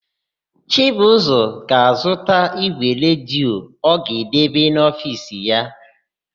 Chibụzọ ga-azụta ígwè redio ọ ga-edebe n'ofiisi ha.